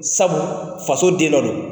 Sabu faso den dɔ don.